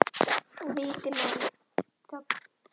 Og viti menn, þögn.